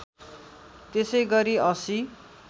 त्यसै गरी ८०